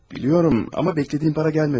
Bilirəm, amma gözlədiyim pul gəlmədi.